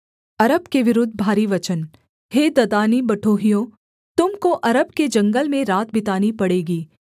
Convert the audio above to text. अरब के विरुद्ध भारी वचन हे ददानी बटोहियों तुम को अरब के जंगल में रात बितानी पड़ेगी